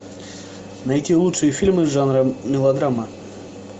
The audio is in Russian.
найти лучшие фильмы жанра мелодрама